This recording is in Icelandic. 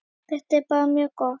Þetta er bara mjög gott.